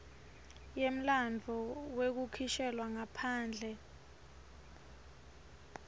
yemlandvo wekukhishelwa ngaphandle